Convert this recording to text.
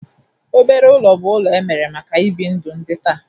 Obere ụlọ bụ ụlọ emere maka ibi ndụ di nta.